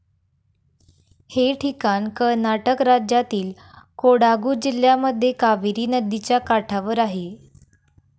हे ठिकाण कर्नाटक राज्यातील कोडागु जिल्ह्यामध्ये कावेरी नदिच्या काठावर आहे.